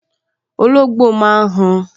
Olóngbò máa n han